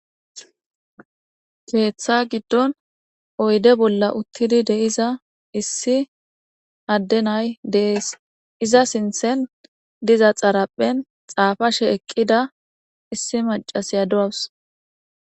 Keththa giddonni oyidde bolla uttidi de'iza issi adee na'ayi de'ees.izza sinththenni diza xaarphphenni xaafashshe eqida issi macashiya de'awus.